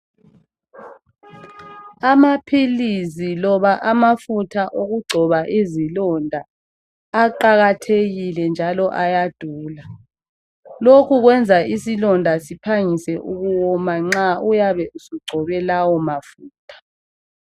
Amaphilizi loba amafutha okugcoba izilonda aqakathekile njalo ayadula lokhu kwenza isilonda siphangise ukuwoma nxa uyabe usungcobe lawa mafutha.